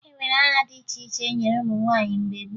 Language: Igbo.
E nwere aha dị iche iche e nyere ụmụ nwaanyị mgbe gboo